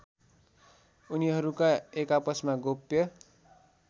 उनीहरूका एकआपसमा गोप्य